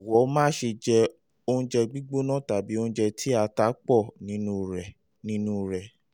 jọ̀wọ́ má ṣe jẹ oúnjẹ gbígbóná tàbí oúnjẹ tí ata pọ̀ nínú rẹ nínú rẹ